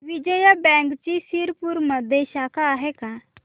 विजया बँकची शिरपूरमध्ये शाखा आहे का